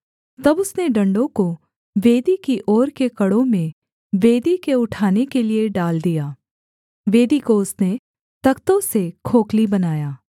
तब उसने डण्डों को वेदी की ओर के कड़ों में वेदी के उठाने के लिये डाल दिया वेदी को उसने तख्तों से खोखली बनाया